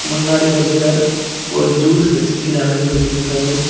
முன்னாடி ஒருத்தர் ஒரு ஜூஸ் வச்சுட்டு நடந்து போயிட்ருக்காரு.